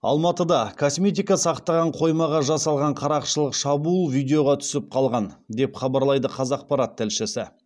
алматыда косметика сақтаған қоймаға жасалған қарақшылық шабуыл видеоға түсіп қалған деп хабарлайды қазақпарат тілшісі